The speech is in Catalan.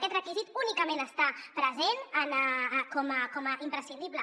aquest requisit únicament està present com a imprescindible